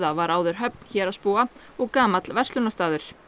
var áður höfn héraðsbúa og gamall verslunarstaður